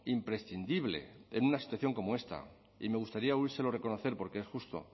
imprescindible en una situación como esta y me gustaría oírselo reconocer porque es justo